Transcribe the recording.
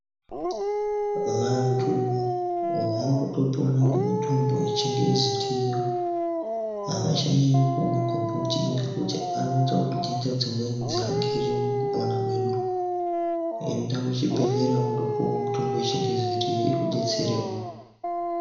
Vantu vakutopona ngemitombo yechingezi iriyo. Havachanyanyi kumwa magomboti nekuti anoita kuti ntenda dzimweni dziangire mukupona kwedu. Enda kuchibhedhlera undopuva mitombo yechingezi iriyo ikubetserevo.